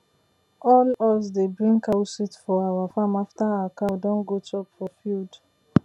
all us dey bring cow shit for our farm after our cow don go chop for field